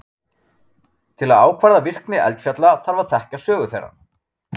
Til að ákvarða virkni eldfjalla þarf að þekkja sögu þeirra.